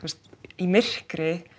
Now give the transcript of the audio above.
í myrkri